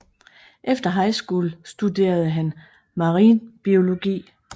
Efter high school studerede han marinbiologi